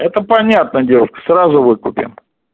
это понятно девушка сразу выкупим